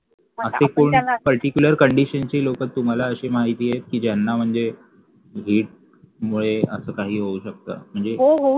अशे कोण particular condition चे लोकं तुम्हाला अशे माहिती आहे कि ज्यांना म्हणजे heat मुले असा काही होऊ शकते म्हणजे